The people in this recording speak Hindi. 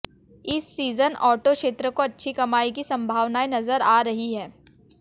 इस सीजन ऑटो क्षेत्र को अच्छी कमाई की संभावनाएं नजर आ रहीं हैं